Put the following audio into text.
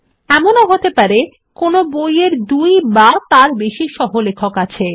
এমনও হতে পারে কোনো বই এর দুই বা তার বেশি সহলেখক আছে